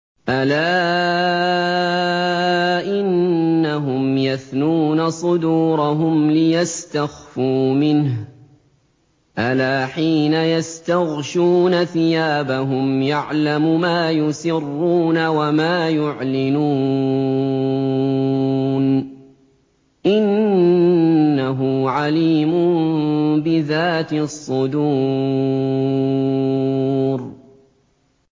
أَلَا إِنَّهُمْ يَثْنُونَ صُدُورَهُمْ لِيَسْتَخْفُوا مِنْهُ ۚ أَلَا حِينَ يَسْتَغْشُونَ ثِيَابَهُمْ يَعْلَمُ مَا يُسِرُّونَ وَمَا يُعْلِنُونَ ۚ إِنَّهُ عَلِيمٌ بِذَاتِ الصُّدُورِ